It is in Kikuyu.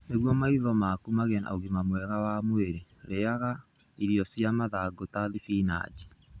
Nĩguo maitho maku magĩe na ũgima mwega wa mwĩrĩ, rĩagaga irio cia mathangũ ta thibinaji.